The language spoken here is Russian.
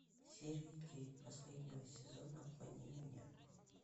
серия девять последнего сезона обмани меня